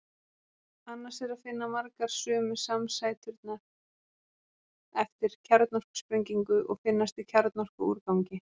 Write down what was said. Annars er að finna margar sömu samsæturnar eftir kjarnorkusprengingu og finnast í kjarnorkuúrgangi.